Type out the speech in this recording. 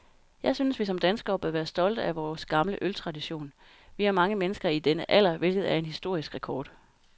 Jeg synes, vi som danskere bør være stolte af vor gamle øltradition. Vi har mange mennesker i denne alder, hvilket er en historisk rekord.